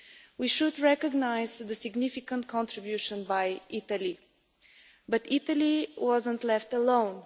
We should recognise the significant contribution by Italy, but Italy was not left alone.